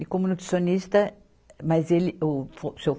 E como nutricionista, mas ele, o o seu.